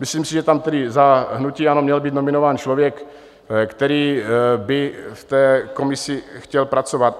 Myslím si, že tam tedy za hnutí ANO měl být nominován člověk, který by v té komisi chtěl pracovat.